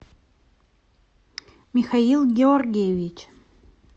михаил георгиевич